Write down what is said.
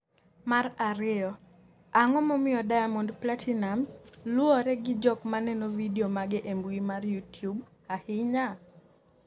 mar ariyo, Ang’o momiyo Diamond Platinumz luwre gi jok maneno vidio mage e mbui mar Youtube ahinya?